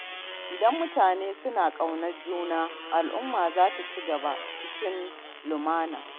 Idan mutane suna ƙaunar juna, al’umma za ta ci gaba cikin lumana.